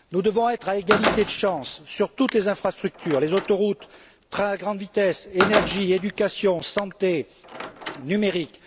Nous devons être à égalité de chances sur toutes les infrastructures, les autoroutes, le train à grande vitesse, l'énergie, l'éducation, la santé, le numérique.